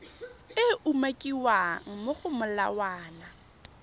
e umakiwang mo go molawana